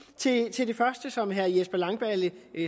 til det første som herre jesper langballe